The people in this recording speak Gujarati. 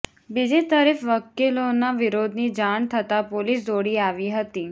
બીજી તરફ વકીલોના વિરોધની જાણ થતાં પોલીસ દોડી આવી હતી